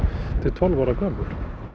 til tólf ára gömul